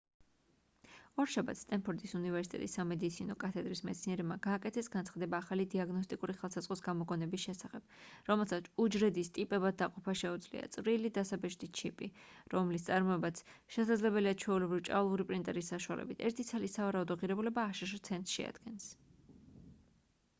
ორშაბათს სტენფორდის უნივერსიტეტის სამედიცინო კათედრის მეცნიერებმა გააკეთეს განცხადება ახალი დიაგნოსტიკური ხელსაწყოს გამოგონების შესახებ რომელსაც უჯრედის ტიპებად დაყოფა შეუძლია წვრილი დასაბეჭდი ჩიპი რომლის წარმოებაც შესაძლებელია ჩვეულებრივი ჭავლური პრინტერის საშუალებით ერთი ცალის სავარაუდო ღირებულება აშშ ცენტს შეადგენს